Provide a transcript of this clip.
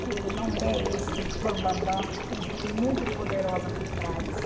Que ele não é esse bam, bam, bam, tem gente muito poderosa por trás.